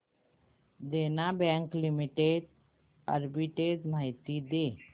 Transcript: देना bank limited arbitrage माहिती दे